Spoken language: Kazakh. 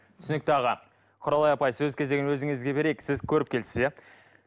түсінікті аға құралай апай сөз кезегін өзіңізге берейік сіз көріпкелсіз иә